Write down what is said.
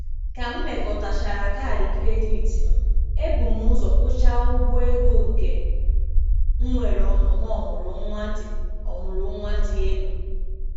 ka m mekọtachara kaadị kredit m, ebum ụzọ kwụchaa ụgwọ ego nke nwere ọnụma ọmụrụ nwa dị ọmụrụ nwa dị elu.